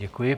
Děkuji.